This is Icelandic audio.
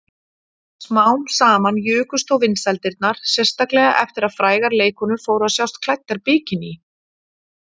Smám saman jukust þó vinsældirnar, sérstaklega eftir að frægar leikkonur fóru að sjást klæddar bikiní.